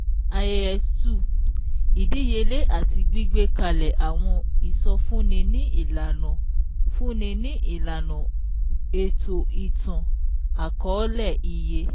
IAS-2 Ìdíyelé àti gbígbé kalẹ̀ àwọn ìsọ fúnni ní ìlànà fúnni ní ìlànà ètò ìtàn- àkọ́ọ́lẹ iye